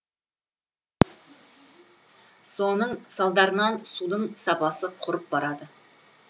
соның салдарынан судың сапасы құрып барады